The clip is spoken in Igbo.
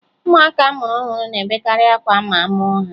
Ụmụaka a mụrụ ọhụrụ na-ebekarị akwa ma a mụọ ha